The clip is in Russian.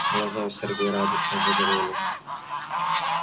глаза у сергея радостно загорелись